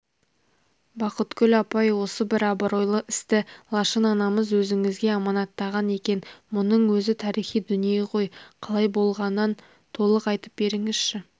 бақытгүл апай осы бір абыройлы істі лашын анамыз өзіңізге аманаттаған екен мұның өзі тарихи дүние ғой қалай болғанан толық айтып беріңізші